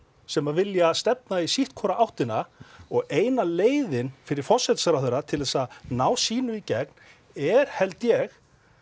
sem vilja stefna í sitthvora áttina og eina leiðin fyrir forsætisráðherra til að ná sínu í gegn er held ég